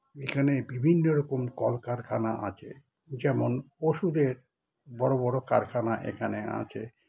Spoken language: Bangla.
এখানে বিভিন্ন রকম কলকারখানা আছে যেমন ওষুধের বড় বড় কারখানা এখানে আছে